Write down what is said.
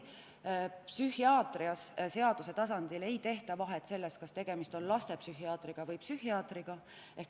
Psühhiaatrias ei tehta seaduse tasandil vahet selles, kas tegemist on lastepsühhiaatriga või tavalise psühhiaatriga.